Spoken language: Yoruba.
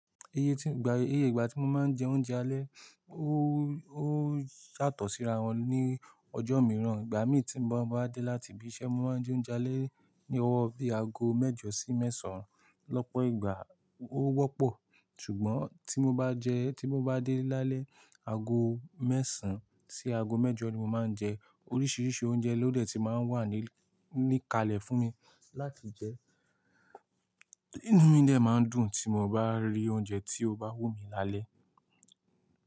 Iye tí, igba, iye ìgbà tí mo máa ń jẹ oúnjẹ alẹ́, ó, ó yàtọ̀ síra wọn ní ọjọ́ mìràn. Ìgbà mi tí mo bá dé láti ibi iṣẹ́, mo máa ń jẹ oúnjẹ alẹ́ ní ọwọ́ bí i ago mẹ́jọ sí mẹ́sán. Lọ́pọ̀ ìgbà ó wọ́pọ̀, ṣùgbọ́n tí mo bá jẹ, tí mo bá dé lálẹ́, ago mẹ́sàn sí ago mẹ́jọ ni mo máa ń jẹ. Oríṣiríṣi oúnjẹ ló dẹ̀ ti máa ń wà ní, ní kalẹ̀ fún mi láti jẹ. Inú mi dẹ̀ máa ń dùn tí mo bá rí oúnjẹ tí ó bá wù mí lálẹ́.